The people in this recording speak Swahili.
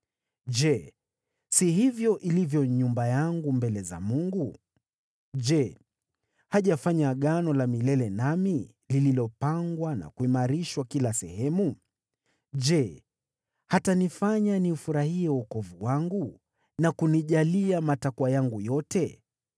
“Je, si hivyo ilivyo nyumba yangu mbele za Mungu? Je, hajafanya Agano la milele nami, lililopangwa na kuimarishwa kila sehemu? Je, hatanifanya niufurahie wokovu wangu na kunijalia matakwa yangu yote?